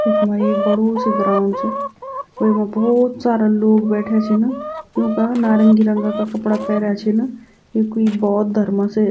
इखमा ऐक बडू सी ग्राउंड च वेमा भौत सारा लोग बेठ्या छिन यूंका नारंगी रंगा का कपड़ा पैरया छिन यू क्वि बौद्ध धर्म से --